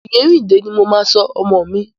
Oyèrìndé ní mo máa sọ ọmọ mi.